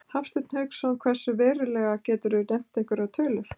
Hafsteinn Hauksson: Hversu verulega, geturðu nefnt einhverjar tölur?